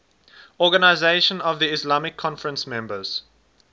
organisation of the islamic conference members